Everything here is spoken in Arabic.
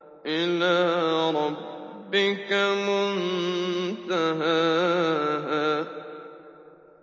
إِلَىٰ رَبِّكَ مُنتَهَاهَا